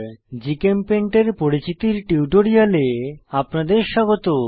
GChemPaint এর পরিচিতির টিউটোরিয়ালে আপনাদের স্বাগত